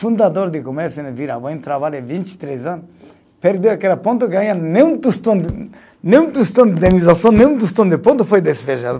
Fundador de comércio no, trabalhei vinte e três anos, perdeu aquele ponto, ganha nenhum tostão de, nenhum tostão de indenização, nenhum tostão de ponto, foi despejado.